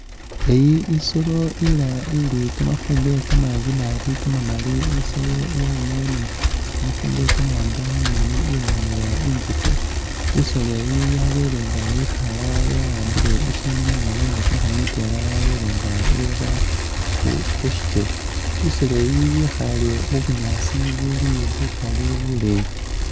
Eyi i'solo ila ili kamafumbwe kamanji naabi kamamali i'solo yabamo ni kamafumbwe kamawaanga mumoni ilangiwa inguke i'solo eyi yabele nga yikhala yawambile ishindu mungoono nga kumukhoono mutwela yabele nga i'ra khusikele i'solo eyi yekhale mubunyaasi buli bukali buleyi